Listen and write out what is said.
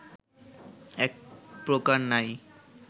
একপ্রকার নাই